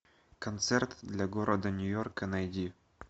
концерт для города нью йорка найди